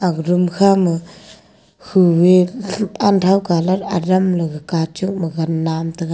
aga room kha ma humi unthao colour adam la kachok ma ganda nan taga.